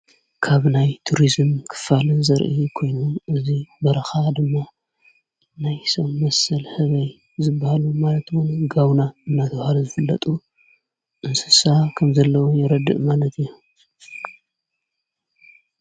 ካብናይ ቱርስም ክፋልን ዘርኢ ኮይኑ እዙይ በረኻ ድማ ናይ ሰም መሰል ሕበይ ዝበሃሉ ማለትዉን ጋውና እናተውሃለ ዝፍለጡ ንስሳ ከም ዘለዉ የረድእ ማለት እዩ።